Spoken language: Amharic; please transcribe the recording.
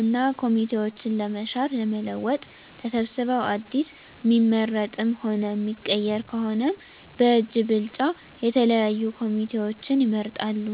እና ኮሚቴዎችን ለመሻር ለመለወጥ ተሰብስበዉ አዲስ እሚመረጥም ሆነ እሚቀየር ከሆነም በእጅ ብልጫ የተለያዩ ኮሚቴዎችን ይመርጣሉ።